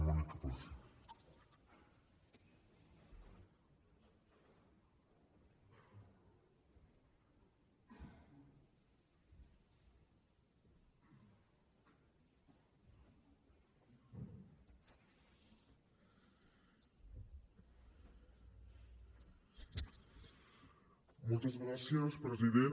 moltes gràcies president